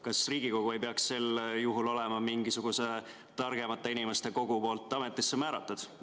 Kas Riigikogu ei peaks sel juhul olema mingisuguse targemate inimeste kogu poolt ametisse määratud?